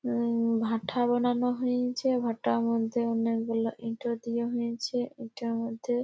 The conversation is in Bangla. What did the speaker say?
উঁ ভাটা বনানো হইঞ্চে ভাটা বনতে অনেকগুলো ইটা দেয়া হইঞ্চে ইটার মধ্যে--